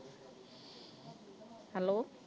Hello